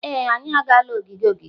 Ee, anyị agaala ogige ogige.